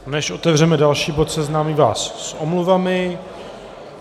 Než otevřeme další bod, seznámím vás s omluvami.